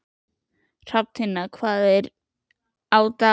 Hrafntinna, hvað er á dagatalinu í dag?